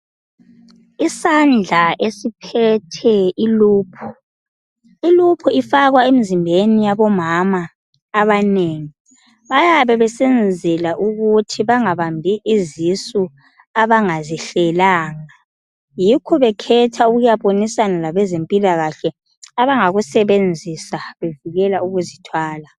Isandla esiphethe iloop. Iloop ifakwa emzimbeni yabomama abanengi. Bayabebesenzela ukuthi bangabambi izisu abangazihlelanga, yikho bekhetha ukuyabonisana labezempilakahle abangakusebenzisa bevikela ukuzithwala.